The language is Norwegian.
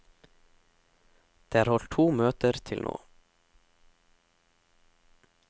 Det er holdt to møte til nå.